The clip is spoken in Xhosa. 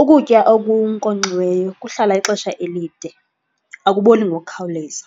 Ukutya okunkonkxiweyo kuhlala ixesha elide, akuboli ngokukhawuleza.